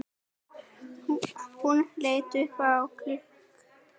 Hún leit upp á klukk